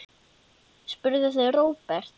spurðu þau Róbert.